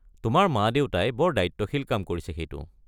তোমাৰ মা-দেউতাই বৰ দায়িত্বশীল কাম কৰিছে সেইটো।